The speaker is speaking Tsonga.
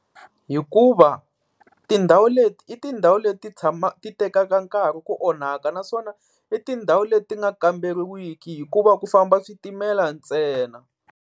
Hikuva tindhawu leti i tindhawu leti tshama, ti tekaka nkarhi ku onhaka. Naswona i tindhawu leti nga kamberiwiki hikuva ku famba switimela ntsena.